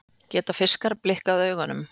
Geta fiskar blikkað augunum?